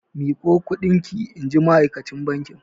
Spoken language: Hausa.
Miƙo kuɗin ki! inji ma'akacin bankin.